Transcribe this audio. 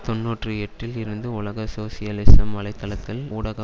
தொன்னூற்றி எட்டில் இருந்து உலக சோசியலிசம் வலை தளத்தில் ஊடாக